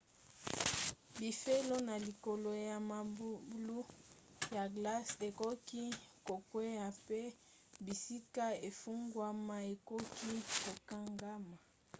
bifelo na likolo ya mabulu ya glace ekoki kokwea mpe bisika efungwama ekoki kokangama